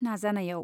नाजानायाव।